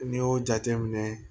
N'i y'o jateminɛ